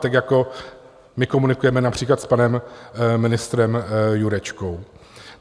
Tak jako my komunikujeme například s panem ministrem Jurečkou.